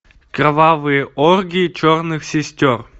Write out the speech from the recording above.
кровавые оргии черных сестер